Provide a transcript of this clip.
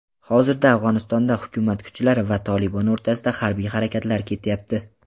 hozirda Afg‘onistonda hukumat kuchlari va "Tolibon" o‘rtasida harbiy harakatlar ketyapti.